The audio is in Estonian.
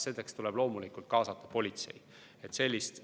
Sellist õigust omavalitsused ei saa.